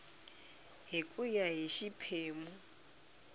hi ku ya hi xiphemu